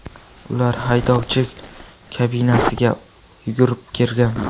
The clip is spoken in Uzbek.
Ular haydovchi kabinasiga yugurib kirgan.